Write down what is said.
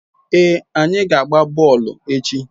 Ee, anyi na-agba boolu echi